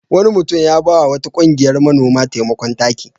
Wani mutum ya ba wa wata ƙungiyar manoma taimakon taki.